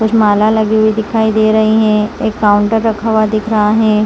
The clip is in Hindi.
कुछ माला लगे हुए दिखाई दे रही है एक काउंटर रखा हुआ दिख रहा है।